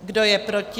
Kdo je proti?